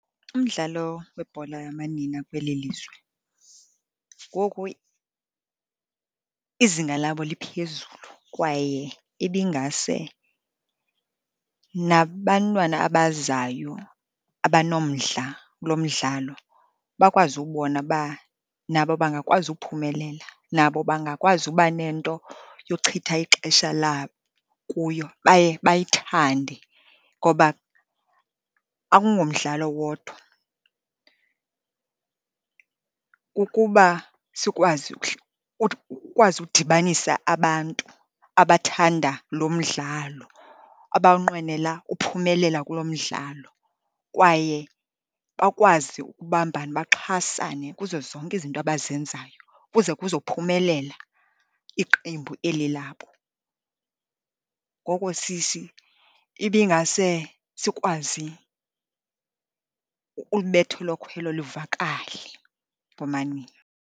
Umdlalo webhola yamanina kweli lizwe ngoku izinga labo liphezulu, kwaye ibingase nabantwana abazayo abanomdla kulo mdlalo bakwazi ubona uba nabo bangakwazi ukuphumelela. Nabo bangakwazi uba nento yochitha ixesha labo kuyo baye bayithande ngoba akungomdlalo wodwa, ukuba sikwazi udibanisa abantu abathanda lo mdlalo, abanqwenela uphumelela kulo mdlalo, kwaye bakwazi ukubambana, baxhasane kuzo zonke izinto abazenzayo, kuze kuzophumelela iqembu eli labo. Ngoko ibingase sikwazi ulibetha elo khwelo livakale komanina